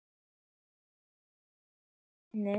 Og halda Júlíu við efnið.